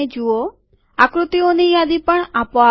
આકૃતિઓની યાદી પણ આપોઆપ આવે છે